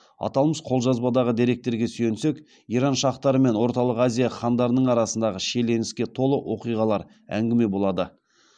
аталмыш қолжазбадағы деректерге сүйенсек иран шахтары мен орталық азия хандарының арасындағы шиеленіске толы оқиғалар әңгіме болады